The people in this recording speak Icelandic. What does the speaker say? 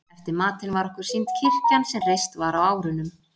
Eftir matinn var okkur sýnd kirkjan sem reist var á árunum